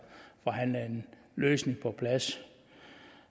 forhandlet en løsning på plads